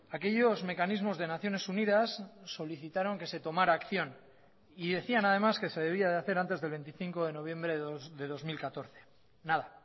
aquellos mecanismos de naciones unidas solicitaron que se tomara acción y decían además que se debía de hacer antes del veinticinco de noviembre de dos mil catorce nada